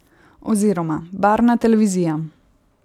Oziroma: 'Barvna televizija.